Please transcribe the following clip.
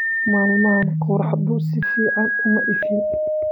Maalmahan qorraxdu si fiican uma ifin.